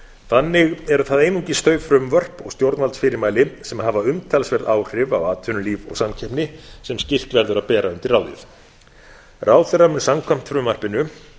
þannig eru það einungis þau frumvörp og stjórnvaldsfyrirmæli sem hafa umtalsverð áhrif á atvinnulíf og samkeppni sem skylt verður að bera undir ráðið ráðherra mun samkvæmt frumvarpinu